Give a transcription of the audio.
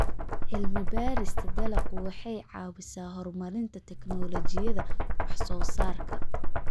Cilmi-baarista dalaggu waxay caawisaa horumarinta tignoolajiyada wax-soo-saarka.